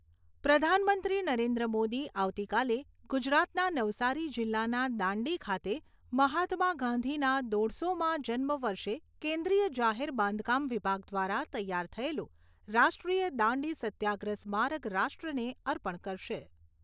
પ્રધાનમંત્રી નરેન્દ્ર મોદી આવતીકાલે ગુજરાતના નવસારી જિલ્લાના દાંડી ખાતે મહાત્મા ગાંધીના દોઢસોમા જન્મ વર્ષે કેન્દ્રીય જાહેર બાંધકામ વિભાગ દ્વારા તૈયાર થયેલું રાષ્ટ્રીય દાંડી સત્યાગ્રહ સ્મારક રાષ્ટ્રને અર્પણ કરશે.